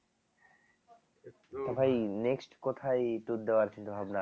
ভাই next কোথায় tour দেওয়ার চিন্তাভাবনা